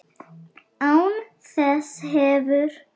Án þess hefur